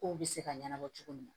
Kow be se ka ɲɛnabɔ cogo min na